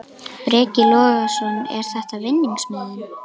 Breki Logason: Er þetta vinningsmiðinn?